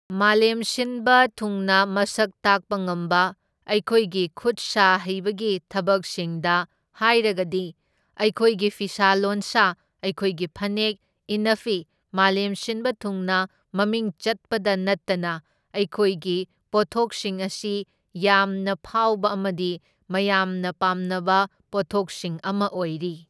ꯃꯥꯂꯦꯝ ꯁꯤꯟꯕ ꯊꯨꯡꯅ ꯃꯁꯛ ꯇꯥꯛꯄ ꯉꯝꯕ ꯑꯩꯈꯣꯏꯒꯤ ꯈꯨꯠ ꯁꯥ ꯍꯩꯕꯒꯤ ꯊꯕꯛꯁꯤꯡꯗ ꯍꯥꯏꯔꯒꯗꯤ ꯑꯩꯈꯣꯏꯒꯤ ꯐꯤꯁꯥ ꯂꯣꯟꯁꯥ, ꯑꯩꯈꯣꯏꯒꯤ ꯐꯅꯦꯛ ꯏꯟꯅꯐꯤ ꯃꯥꯂꯦꯝ ꯁꯤꯟꯕ ꯊꯨꯡꯅ ꯃꯃꯤꯡ ꯆꯠꯄꯗ ꯅꯠꯇꯅ ꯑꯩꯈꯣꯏꯒꯤ ꯄꯣꯠꯊꯣꯛꯁꯤꯡ ꯑꯁꯤ ꯌꯥꯝꯅ ꯐꯥꯎꯕ ꯑꯃꯗꯤ ꯃꯌꯥꯝꯅ ꯄꯥꯝꯅꯕ ꯄꯣꯠꯊꯣꯛꯁꯤꯡ ꯑꯃ ꯑꯣꯏꯔꯤ꯫